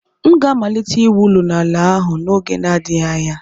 M ga-amalite iwu ụlọ n'ala ahụ n'oge na-adịghị anya.